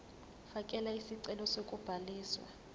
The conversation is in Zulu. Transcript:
fakela isicelo sokubhaliswa